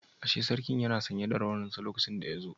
Ashe sarki yana sanye da rawaninsa lokacin da yazo